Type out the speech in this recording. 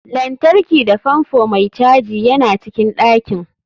Lantarki da fanfo mai caji yana cikin ɗakin.